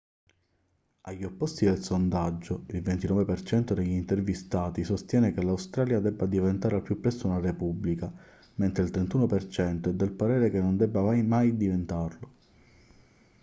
agli opposti del sondaggio il 29% degli intervistati sostiene che l'australia debba diventare al più presto una repubblica mentre il 31% è del parere che non debba mai diventarlo